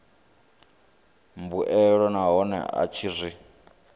mbuelo nahone a tshi zwi